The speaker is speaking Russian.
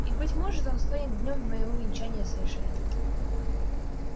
и быть может он станет днём моего венчания с эшли